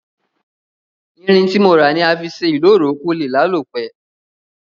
Irin tí mo rà ni a fi sé ìloro ko lé lálò pe